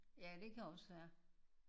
Ja det kan også være